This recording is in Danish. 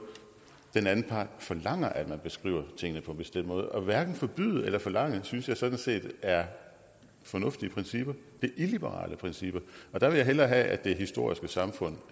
den anden part forlanger at man beskriver tingene på en bestemt måde og hverken forbyde eller forlange synes jeg sådan set er fornuftige principper det er illiberale principper og der vil jeg hellere have at det historiske samfund